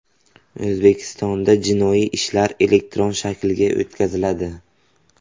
O‘zbekistonda jinoiy ishlar elektron shaklga o‘tkaziladi.